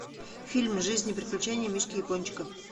фильм жизнь и приключения мишки япончика